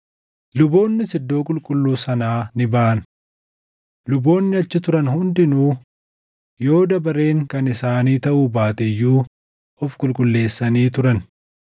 Luboonnis Iddoo Qulqulluu sanaa ni baʼan. Luboonni achi turan hundinuu yoo dabareen kan isaanii taʼuu baate iyyuu of qulqulleessanii turan.